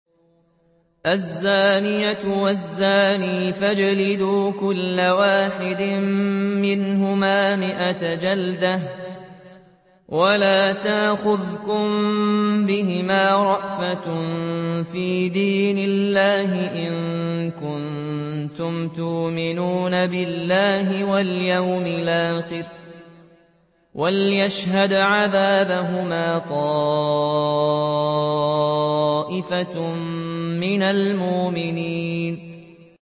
الزَّانِيَةُ وَالزَّانِي فَاجْلِدُوا كُلَّ وَاحِدٍ مِّنْهُمَا مِائَةَ جَلْدَةٍ ۖ وَلَا تَأْخُذْكُم بِهِمَا رَأْفَةٌ فِي دِينِ اللَّهِ إِن كُنتُمْ تُؤْمِنُونَ بِاللَّهِ وَالْيَوْمِ الْآخِرِ ۖ وَلْيَشْهَدْ عَذَابَهُمَا طَائِفَةٌ مِّنَ الْمُؤْمِنِينَ